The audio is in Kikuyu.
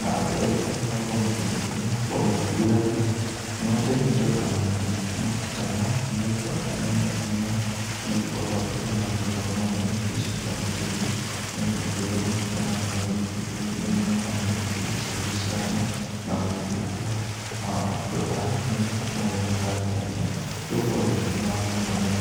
na andũ aingĩ nĩ magĩkoragwo magĩkuĩra ngombe indo na mahuti , mahuti ta maya nĩ magĩkoragwo me mega mũno, nĩgukorwo atĩ rĩrĩa magĩtwarĩrwo ngombe, nĩ igĩcokaga iga gĩthiĩ na igakĩrĩa mahuti ta marĩa igakorwo ikĩruta iria mũno, kana igagĩtuika cia gũciarana, na gũgĩtunguha nao andũ a magagĩtũmĩra ngari ta ĩno nĩgũkorwo ndĩkĩnyuaga maguta mũno.